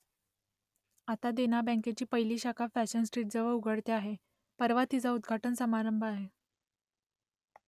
आता देना बँकेची पहिली शाखा फॅशन स्ट्रीटजवळ उघडते आहे परवा तिचा उद्घाटन समारंभ आहे